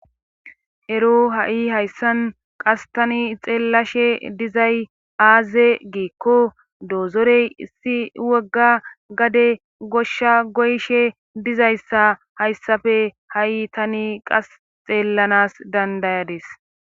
ero ha7i hayssan qas tani xeellashe dizay aaze giikko doozorey issi wogga gade goshsha goyshe dizayssa hayssafe ha7i tani qas xeellanas dandayades